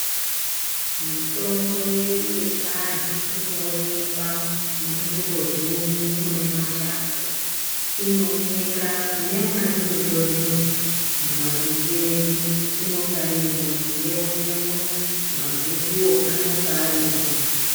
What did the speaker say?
Mitombo yedu yechiandu inoonekwa munzvimbo zhinji mune mashango inooneka nemwatinotorima mumapindu edu inonga irimo tinoyionemo magukuwo anenge arimo.